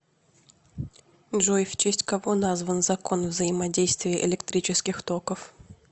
джой в честь кого назван закон взаимодействия электрических токов